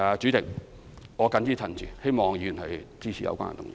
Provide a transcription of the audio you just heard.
主席，我謹此陳辭，希望議員支持有關議案。